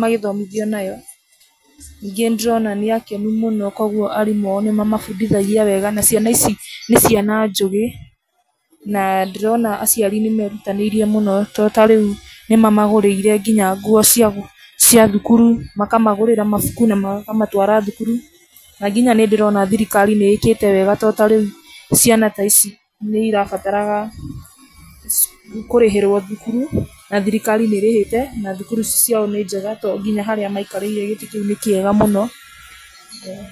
magĩthomithio nayo. Ningĩ nĩ ndĩrona nĩ akenu mũno, koguo arimũ ao nĩ mamabundithagia wega, na ciana ici nĩ ciana njũgĩ. Na ndĩrona aciari nĩ merutanĩirie mũno to ta rĩu nĩ mamagũrĩire nginya nguo cia cia thukuru, makamagũrĩra mabuku na makamatwara thukuru. Na nginya nĩ ndĩrona thirikari nĩ ĩkĩte wega to ta rĩu ciana ta ici nĩ irabataraga kũrĩhĩrwo thukuru, na thirikari nĩ ĩrĩhĩte, na thukuru ciao nĩ njega to nginya harĩa maikarĩire gĩtĩ kĩu nĩ kĩega mũno, ĩĩ.